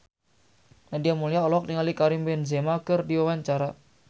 Nadia Mulya olohok ningali Karim Benzema keur diwawancara